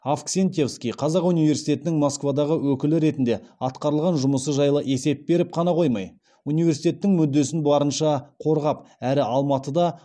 авксентьевский қазақ университетінің москвадағы өкілі ретінде атқарылған жұмысы жайлы есеп беріп қана қоймай университеттің мүддесін барынша қорғап әрі алматыда